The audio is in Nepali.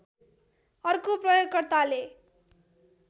अर्को प्रयोगकर्ताले